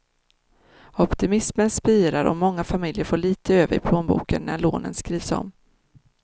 Optimismen spirar och många familjer får lite över i plånboken när lånen skrivs om.